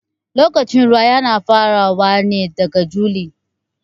Lokacin ruwa Yana farawa ne daga juli.